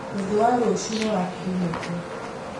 Mũthĩ wa rũcio nĩ wa kiriniki